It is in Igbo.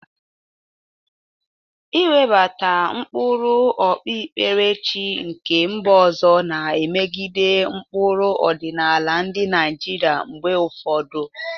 Iwebata ụkpụrụ okpukperechi nke mba ọzọ na-emegide ụkpụrụ ọdịnala ndị Naijiria mgbe ụfọdụ.